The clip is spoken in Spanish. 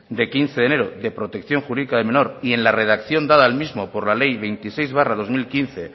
de quince de enero de protección jurídica del menor y en la redacción dada al mismo por la ley veintiséis barra dos mil quince